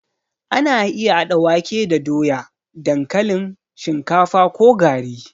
Ana iya haɗa wake da doya, dankalin, shinkafa ko gari.